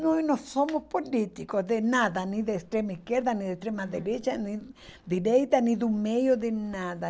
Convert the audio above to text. Nós não somos políticos de nada, nem de extrema-esquerda, nem da extrema-direita, nem direita, nem do meio, de nada.